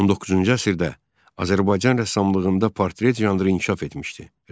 19-cu əsrdə Azərbaycan rəssamlığında portret janrı inkişaf etmişdi.